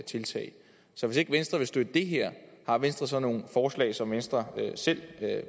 tiltag så hvis ikke venstre vil støtte det her har venstre så nogen forslag som venstre selv